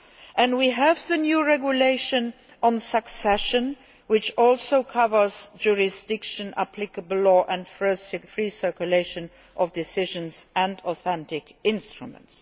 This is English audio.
and we have the new regulation on succession, which also covers jurisdiction, applicable law and free circulation of decisions and authentic instruments.